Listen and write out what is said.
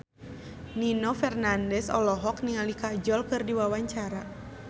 Nino Fernandez olohok ningali Kajol keur diwawancara